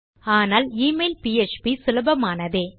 ஆனால் email PHP சுலபமானதே